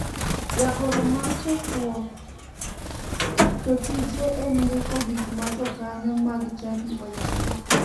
Jagoro mar chokruok to tije en ndiko gik ma jokanyo mag chadi oyalo.